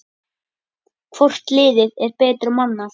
Hvort liðið er betur mannað?